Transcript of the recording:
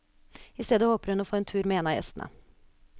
I stedet håper hun å få en tur med en av gjestene.